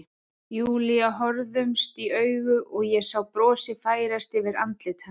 Júlía horfðumst í augu og ég sá brosið færast yfir andlit hennar.